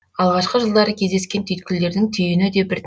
алғашқы жылдары кездескен түйткілдердің түйіні де бір